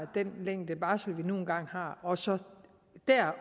den længde barsel vi nu engang har og så